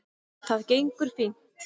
Það gengur fínt